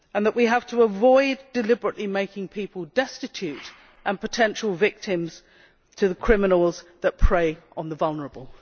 We have to avoid deliberately making people destitute and potential victims of criminals who prey on the vulnerable.